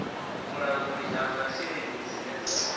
vhulanguli ha masheleni dzine dza